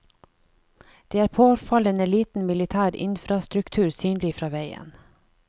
Det er påfallende liten militær infrastruktur synlig fra veien.